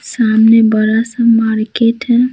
सामने बड़ा सा मार्केट है।